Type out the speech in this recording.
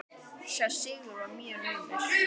Sá sigur var mjög naumur.